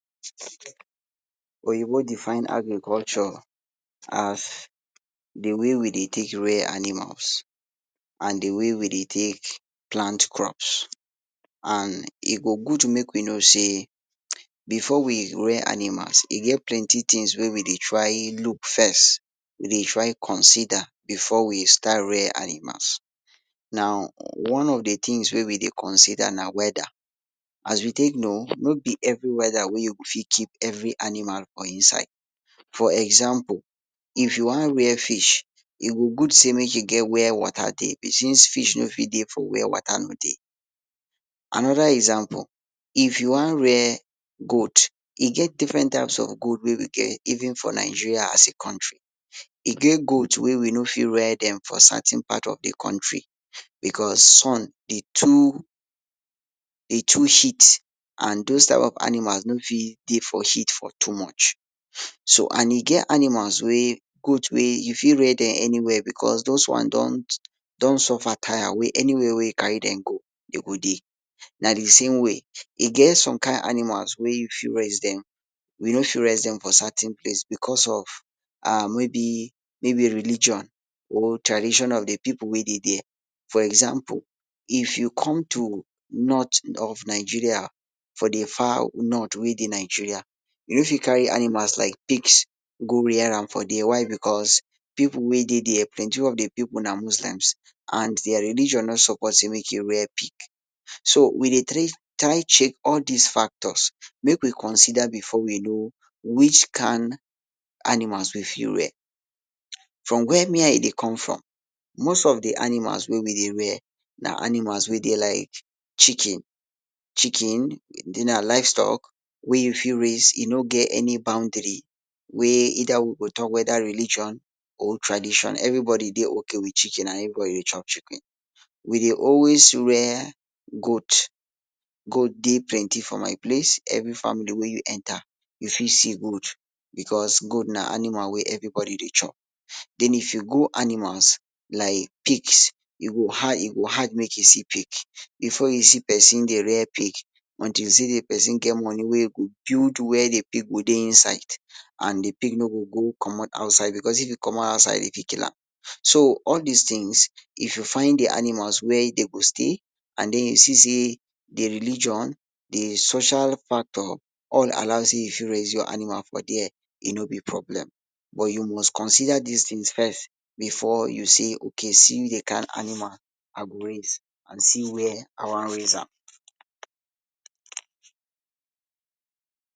Oyinbo define agriculture as di way we dey take rear animals and di way we dey take plant crops and e go good make we know say before we rear animals, e get plenty tins wey we dey try look first, we dey try consider before we start rear animals. Now, one of di tins wey we dey consider na weather, as you take know no be every weather wey you go fit keep every animal for inside. For example, if you wan rear fish, e go good say make you get wia water dey since fish no fit dey for wia wata no dey. Anoda example, if you wan rear goat, e get different types of goat wey we get even for Nigeria as a country. E get goat wey we no fit rear dem for certain part of di country because, sun dey too heat and dose kain of animal no fit dey for heat for too much. So and e get animals wey goat wey you fit rear dem for anywia because dose one don suffer tire wey anywia wey you carry dem go dem go dey. Na di same way e get some kain animal wey you fit raise dem you no fit raise dem for certain place because of um maybe maybe religion or tradition of di pipu wey dey dia, for example if you come to north of Nigeria, for di far north wey dey Nigeria you no fit carry animals like pigs go rear am for dia why because, pipu wey dey dia plenty of di pipu na muslims and dia religion no support say make you rear pig. So we dey tra try check all dis factors make we consider dem before we know which kain animals we fit rare. From wia me I dey come from, most of di animals wey we dey rear na animals wey dey like chicken, chicken then na livestock wey you fit raise e no get any boundary wey either we go talk weda religion or tradition, everybody dey okay wit chicken and everybody dey chop chicken. We dey always rear goat, goat dey plenty for my place, every family wey you enter you fit see goat because goat na animal wey everybody dey chop. Den if you go animals like pigs e go har e go hard make you see pig, before you see person dey rear pig until you see di person get money wey e go build wia di pig go dey inside and di pig no go go commot outside because if e commot outside dey fit kill am. So all dis tins if you find di animal, wia dem go stay and den you see say dia religion di social part of all allow say you fit raise your animal for there e no be problem but you must consider dis tins first before you say okay see di kain animal I go raise and see wia I wan raise am.